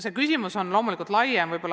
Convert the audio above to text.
See küsimus on loomulikult laiem.